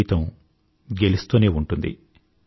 జీవితం గెలుస్తూనే ఉంటుంది